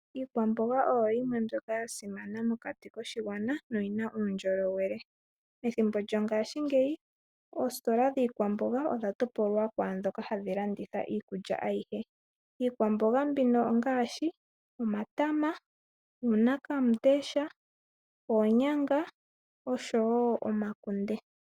Iikwamboga oyo yimwe yomwaambyoka ya simana mokati koshigwana noyina uundjolowele ethimbo lyongashingeyi oositola dhiikwamboga odha topolwa kwaadhoka hadhi landitha iikulya ayihe, iikwamboga mbino ongaashi omatama, uuna kamundesha oonyanga oshowo omakunde.